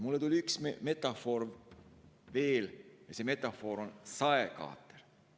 Mulle tuli üks metafoor veel meelde, see metafoor on saekaater.